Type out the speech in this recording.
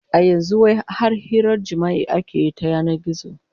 A yanzu wai har hirar jima'i ake yi ta yanan gizo